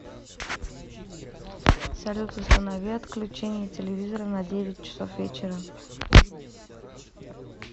салют установи отключение телевизора на девять часов вечера